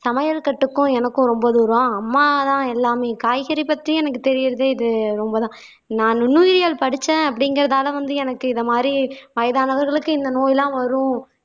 சமையல் கட்டுக்கும் எனக்கும் ரொம்ப தூரம் அம்மாதான் எல்லாமே காய்கறி பத்தியும் எனக்கு தெரியிறதே இது ரொம்பதான் நான் நுண்ணுயிரியல் படிச்சேன் அப்படிங்கிறதால வந்து எனக்கு மாதிரி வயதானவர்களுக்கு இந்த நோயெல்லாம் வரும்